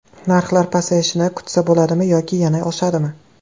Narxlar pasayishini kutsa bo‘ladimi yoki yana oshadimi?